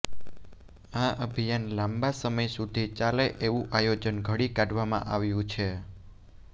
આ અભિયાન લાંબા સમય સુધી ચાલે એવું આયોજન ઘડી કાઢવામાં આવ્યું છે